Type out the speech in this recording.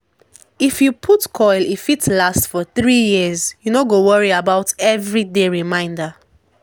if you put coil e fit last for 3yrs -- u no go worry about everyday reminder